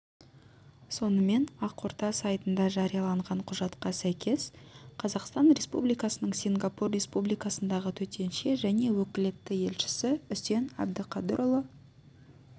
сонымен ақорда сайтында жарияланған құжатқа сәйкес қазақстан республикасының сингапур республикасындағы төтенше және өкілетті елшісі үсен әбдіқадырұлы